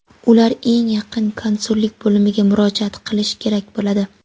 ular eng yaqin konsullik bo‘limiga murojaat qilishi kerak bo‘ladi.